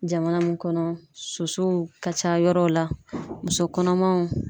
Jamana mun kɔnɔ sosow ka ca yɔrɔw la muso kɔnɔmaw.